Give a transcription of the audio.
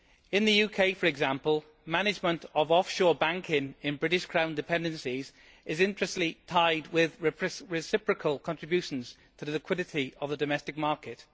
In the UK, for example, management of offshore banking in British Crown dependencies is intrinsically tied with reciprocal contributions to the liquidity of the domestic market.